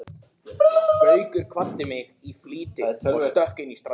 Gaukur kvaddi mig í flýti og stökk inn í strætó.